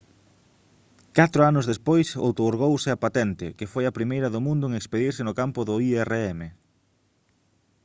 catro anos despois outorgouse a patente que foi a primeira do mundo en expedirse no campo do irm